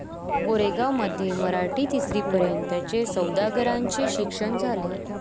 कोरेगांवमध्ये मराठी तिसरीपर्यंतचे सौदागरांचे शिक्षण झाले.